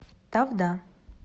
тавда